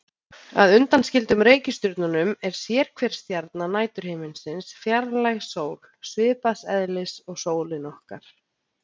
Að undanskildum reikistjörnunum er sérhver stjarna næturhiminsins fjarlæg sól, svipaðs eðlis og sólin okkar.